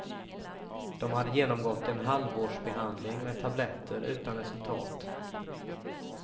De hade genomgått en halvårs behandling med tabletter utan resultat.